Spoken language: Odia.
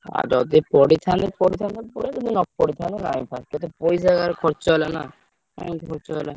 ଆଉ ଯଦି ପଢିଥାନ୍ତ ପଢିଥାନ୍ତ ପୁଳେ ଯଦି ନ ପଢିଥାନ୍ତ ପଇସା ଯାହାହେଲେବି ଖର୍ଚ ହେଲା ନା। କାହିଁକି ଖର୍ଚ ହେଲା।